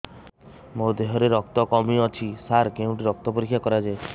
ମୋ ଦିହରେ ରକ୍ତ କମି ଅଛି ସାର କେଉଁଠି ରକ୍ତ ପରୀକ୍ଷା କରାଯାଏ